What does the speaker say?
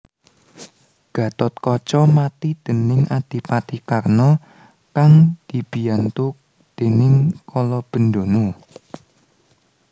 Gathotkaca mati déning Adipati Karna kang dibiyantu déning Kalabendana